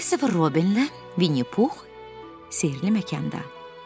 Kristofer Robinlə Vinni Pux sehrli məkanda.